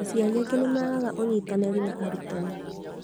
Aciari angĩ nĩ magaga ũnyitanĩri na arutani